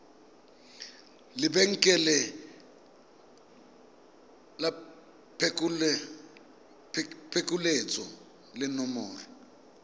lebenkele la phokoletso le nomoro